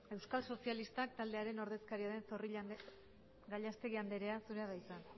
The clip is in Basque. euskal sozilistak taldearen ordezkaria den gallastegui andrea zurea da hitza